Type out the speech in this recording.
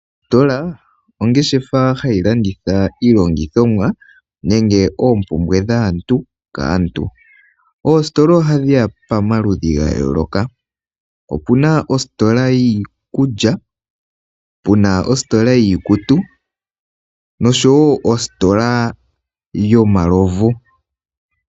Ositola oongeshefa hayi landitha iilongithomwa nenge oompumbwe dhaantu kaantu. Oositola ohadhi ya pomaludhi ga yooloka. Opuna ositola yiikulya puna ositola yiikutu nosho woo ositola yomalovu.